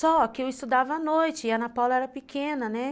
Só que eu estudava à noite e a Ana Paula era pequena, né?